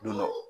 Don dɔ